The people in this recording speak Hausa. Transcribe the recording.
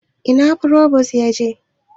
Ina frobos yaje?